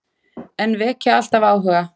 En vekja alltaf áhuga.